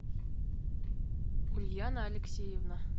ульяна алексеевна